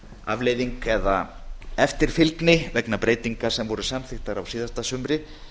afleiðing eða eftirfylgni vegna breytinga sem voru samþykktar á síðasta sumri